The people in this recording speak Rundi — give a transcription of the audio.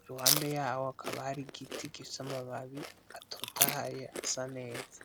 iruhande hakaba hari igiti gifise amababi atotahaye asa neza